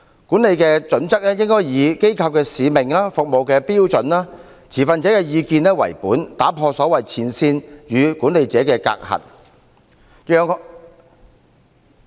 管理的準則，應以機構的使命、服務的目標、持份者的意見為本，打破所謂前線與管理者的隔閡。